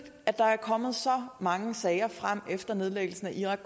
at der er kommet så mange sager frem efter nedlæggelsen af irak